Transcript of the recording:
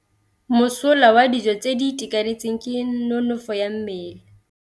Mosola wa dijô tse di itekanetseng ke nonôfô ya mmele.